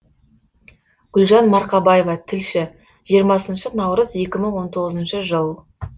гүлжан марқабаева тілші жиырмасыншы наурыз екі мың он тоғызыншы жыл